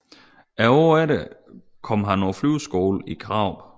Året efter kom han på flyveskole i Karup